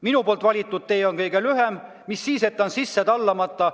Minu valitud tee on kõige lühem, mis siis, et sisse tallamata.